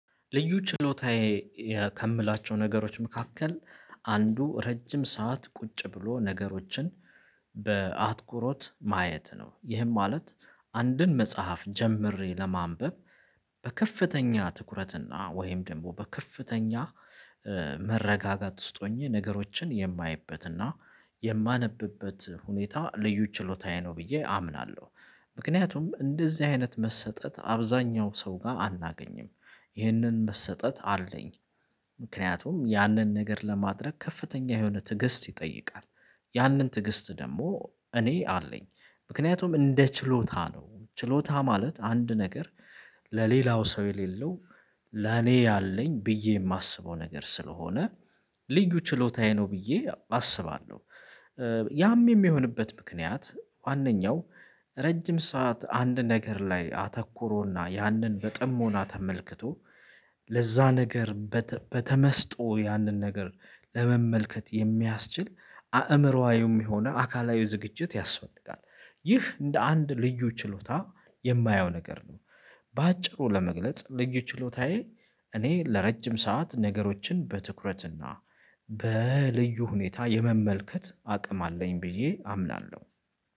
ልዩ ችሎታዬ ከምላቸው ነገሮች መካከል አንዱ ረጅም ሰዓት ቁጭ ብሎ ነገሮችን በአትኩሮት ማየት ነው። ይህም ማለት አንድን መጽሐፍ ጀምሬ ለማንበብ በከፍተኛ ትኩረትና ወይም ደግሞ በከፍተኛ መረጋጋት ውስጥ ሆኜ ነገሮችን የማይበትና የማነብበት ሁኔታ ልዩ ችሎታዬ ነው ብዬ አምናለሁ። ምክንያቱም እንደዚህ አይነት መሰጠት አብዛኛው ሰው ጋር አናገኝም። ይህንን መሰጠት አለኝ። ምክንያቱም ያንን ነገር ለማድረግ ከፍተኛ የሆነ ትዕግስት ይጠይቃል። ያንን ትዕግስት ደግሞ እኔ አለኝ። ምክንያቱም እንደ ችሎታ ነው። ችሎታ ማለት አንድ ነገር ለሌላው ሰው የሌለው ለኔ ያለኝ ብዬ የማስበው ነገር ስለሆነ ልዩ ችሎታዬ ነው ብዬ አስባለሁ። ያም የሚሆንበት ምክንያት ዋነኛው ረጅም ሰዓት አንድ ነገር ላይ አተኩሮና ያንን በጥሞና ተመልክቶ፤ ለዛ ነገር በተመስጦ ያንን ነገር ለመመልከት የሚያስችል አእምሮአዊም የሆነ አካላዊ ዝግጅት ያስፈልጋል። ይህ እንደ አንድ ልዩ ችሎታ የማየው ነገር ነው። በአጭሩ ለመግለጽ ልዩ ችሎታዬ እኔ ለረጅም ሰዓት ነገሮችን በትኩረትና በልዩ ሁኔታ የመመልከት አቅም አለኝ ብዬ አምናለሁ።